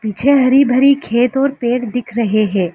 पीछे हरी भरी खेत और पेड़ दिख रहे हैं।